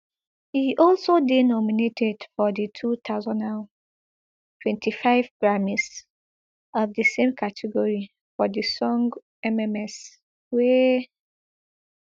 e also dey nominated for di two thousand and twenty-five grammys of di same category for di song mms wey